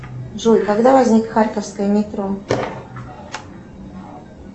джой когда возник харьковское метро